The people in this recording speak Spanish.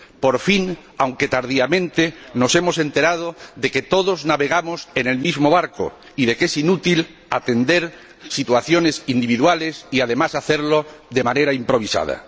Por fin, aunque tardíamente, nos hemos enterado de que todos navegamos en el mismo barco y de que es inútil atender situaciones individuales y, además, hacerlo de manera improvisada.